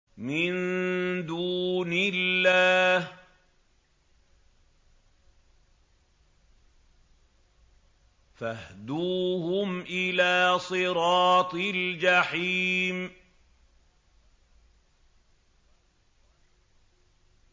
مِن دُونِ اللَّهِ فَاهْدُوهُمْ إِلَىٰ صِرَاطِ الْجَحِيمِ